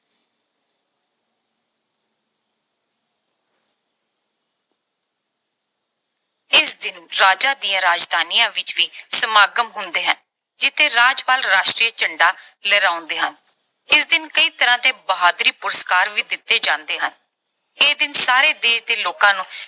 ਇਸ ਦਿਨ ਰਾਜਾਂ ਦੀਆਂ ਰਾਜਧਾਨੀਆਂ ਵਿੱਚ ਵੀ ਸਮਾਗਮ ਹੁੰਦੇ ਹਨ ਜਿਥੇ ਰਾਜਪਾਲ ਰਾਸ਼ਟਰੀ ਝੰਡਾ ਲਹਿਰਾਉਂਦੇ ਹਨ। ਇਸ ਦਿਨ ਕਈ ਤਰ੍ਹਾਂ ਦੇ ਬਹਾਦਰੀ ਪੁਰਸਕਾਰ ਵੀ ਦਿੱਤੇ ਜਾਂਦੇ ਹਨ। ਇਹ ਦਿਨ ਸਾਰੇ ਦੇਸ਼ ਦੇ ਲੋਕਾਂ ਨੂੰ